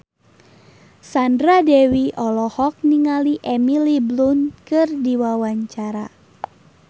Sandra Dewi olohok ningali Emily Blunt keur diwawancara